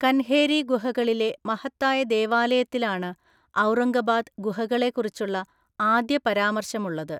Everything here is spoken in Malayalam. കൻഹേരി ഗുഹകളിലെ മഹത്തായ ദേവാലയത്തിലാണ് ഔറംഗബാദ് ഗുഹകളെക്കുറിച്ചുള്ള ആദ്യപരാമർശമുള്ളത്.